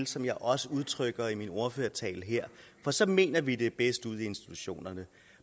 som jeg også udtrykte det i min ordførertale for så mener vi at det er bedst ude i institutionerne